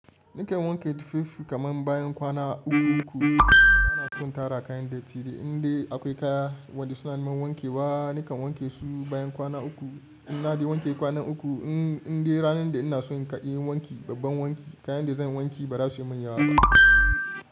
Nikan wanke tufafi kaman bayan kwana uku uku. Bana son tara kayan da dattide. Indai akwai kaya wanda suna mun wanke ba, nikan wanke su bayan kwana uku. In na de wanke kwanan uku, indai ranan da in na so in kai wanki, babban wanki, kayan da zan wanke ba za su min yawa ba.